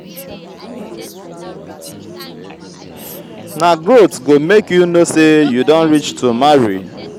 na growth go make you know sey you don reach to marry.